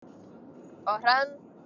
Og Hrönn?